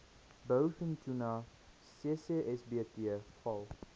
blouvintuna ccsbt val